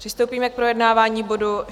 Přistoupíme k projednávání bodu